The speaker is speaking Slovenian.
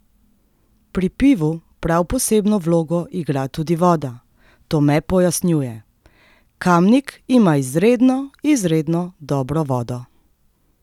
Pri pivu prav posebno vlogo igra tudi voda, Tome pojasnjuje: "Kamnik ima izredno, izredno dobro vodo.